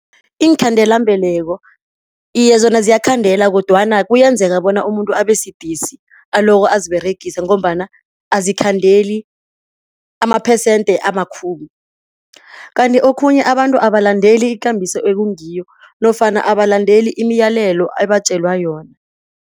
Iinkhandelambeleko, iye, zona ziyakhandela kodwana kuyenzeka bona umuntu abe sidisi aloko aziberegisa ngombana azikhandeli amaphesente amakhulu. Kanti okhunye abantu abalandeli ikambiso ekungiyo nofana abalandeli imiyalelo ebatjelwa yona.